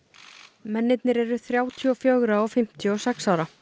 mennirnir eru þrjátíu og fjögur og fimmtíu og sex ára